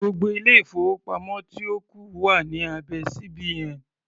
Gbogbo ilé-ìfowópamọ́ tí ó kù wà ní abẹ́ CBN.